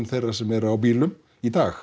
þeirra sem eru á bílum í dag